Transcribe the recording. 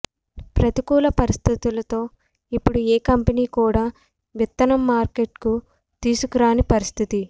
ప్రతికూల పరిస్థితులతో ఇప్పుడు ఏ కంపెనీ కూడా విత్తనం మార్కెట్కు తీసుకురాని పరిస్థితి